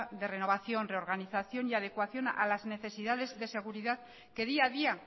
de renovación reorganización y adecuación a las necesidades de seguridad que día a día